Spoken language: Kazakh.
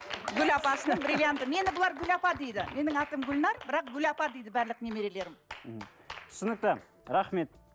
гүл апасының бриллианты мені бұлар гүл апа дейді менің атым гүлнар бірақ гүл апа дейді барлық немерелерім мхм түсінікті рахмет